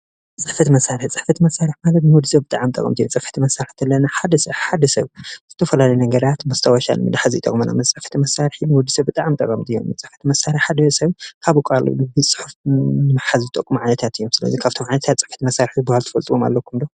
ፅሕፈት መሳርሒ፦ ፅሕፈት መሳርሒ ማለት ንወድሰብ ብጣዕሚ ጠቀምቲ እዮም። ፅሕፈት መሳርሒ ሓደ ሰብ ዝተፈላለዩ ነገራት መስታወሻ ንምሓዝ ይጠቕመና፣ ፅሕፈት መሳርሒ ንወድሰብ ብጣዕሚ ጠቐምቲ እዮም፣ ፅሕፈት መሳርሒ ሓደ ሰብ ካብ ብቃሉ ብፅሑፍ ንምሓዝ ዝጠቅሙ ዓይነታት እዮም። ስለዚ ካብቶም ዓይነታት ፅሕፈት መሳርሒ ዝበሃሉ ትፈልጥዎም ኣለኩም ዶ?